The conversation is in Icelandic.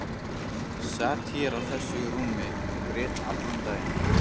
Sat hér á þessu rúmi og grét allan daginn.